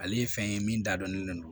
Ale ye fɛn ye min dadɔnnen don